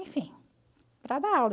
Enfim, para dar aula.